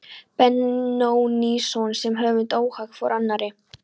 Benónýsson sem höfund óháð hvor annarri.